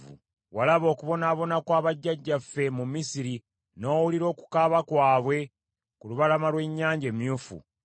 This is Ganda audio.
“Walaba okubonaabona kwa bajjajjaffe mu Misiri, n’owulira okukaaba kwabwe ku lubalama lw’Ennyanja Emyufu.